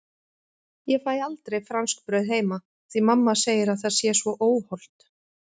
Ég fæ aldrei franskbrauð heima því mamma segir að það sé svo óhollt!